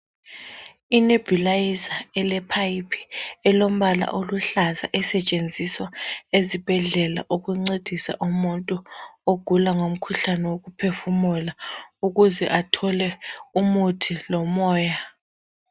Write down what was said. Inebulizer ele phayiphi elombala oluhlaza esetshenziswa ezibhedlela ukuncedisa umuntu ogula ngomkhuhlane wokuphefumula ukuze athole umuthi lomoya.